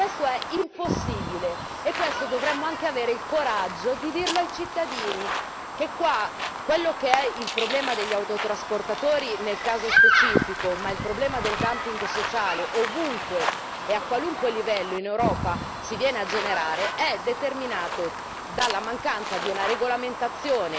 Questo è impossibile, e dovremmo anche avere il coraggio di dirlo ai cittadini, di dire che qua quello che è il problema degli autotrasportatori, nel caso specifico, ma il problema del sociale, ovunque e a qualunque livello in Europa si viene a generare, è determinato dalla mancanza di una regolamentazione